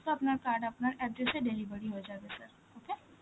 তো আপনার card আপনার address এ delivery হয়ে যাবে sir, okay?